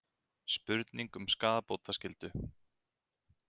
Spurning um skaðabótaskyldu